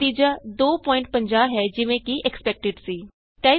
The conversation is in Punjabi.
ਨਤੀਜਾ 250 ਹੈ ਜਿਵੇਂ ਕਿ ਐਕਸਪੈਕਟਡ ਸੀ